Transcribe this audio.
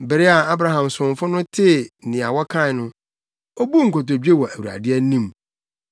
Bere a Abraham somfo no tee nea wɔkae no, obuu nkotodwe wɔ Awurade anim.